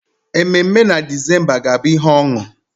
Ememe na December ga-abụ ihe ọṅụ.